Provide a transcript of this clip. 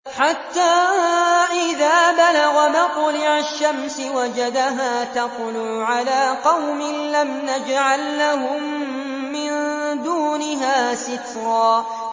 حَتَّىٰ إِذَا بَلَغَ مَطْلِعَ الشَّمْسِ وَجَدَهَا تَطْلُعُ عَلَىٰ قَوْمٍ لَّمْ نَجْعَل لَّهُم مِّن دُونِهَا سِتْرًا